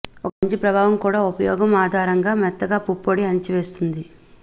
ఒక మంచి ప్రభావం కూడా ఉపయోగం ఆధారంగా మెత్తగా పుప్పొడి అణిచివేస్తుంది